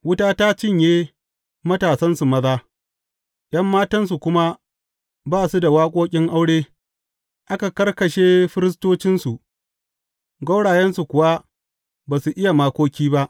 Wuta ta cinye matasansu maza, ’yan matansu kuma ba su da waƙoƙin aure; aka karkashe firistocinsu, gwaurayensu kuwa ba su iya makoki ba.